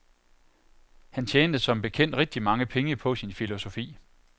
Han tjente som bekendt rigtig mange penge på sin filosofi.